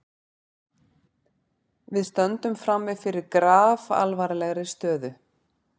Við stöndum frammi fyrir grafalvarlegri stöðu